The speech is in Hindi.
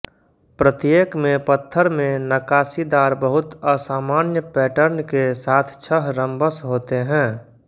प्रत्येक में पत्थर में नक्काशीदार बहुत असामान्य पैटर्न के साथ छः रम्बस होते हैं